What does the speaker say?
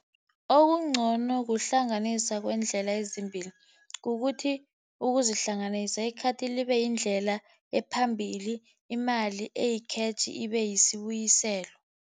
Okungcono kuhlanganisa kweendlela ezimbili, kukuthi ukuzihlanganise. I-card libe yindlela ephambili, imali eyi-cash ibe yisibuyiselo.